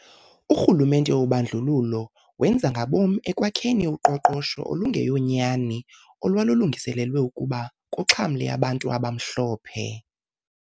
Urhulumente wobandlululo wenza ngabom ekwakheni uqoqosho olungeyonyani olwalulungiselelwe ukuba kuxhamle abantu abamhlophe.